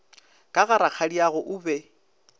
ka ga rakgadiago o be